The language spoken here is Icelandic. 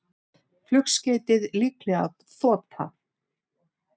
Flugskeytið líklega þota